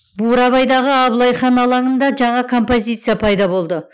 бурабайдағы абылай хан алаңында жаңа композиция пайда болды